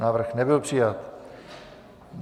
Návrh nebyl přijat.